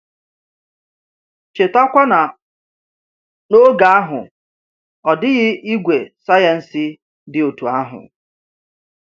Cheta kwa na n’oge ahụ, ọ dịghị ìgwè sayensị dị otú ahụ.